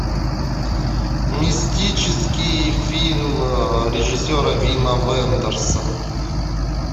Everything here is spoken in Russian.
мистический фильм режиссера вима вендерса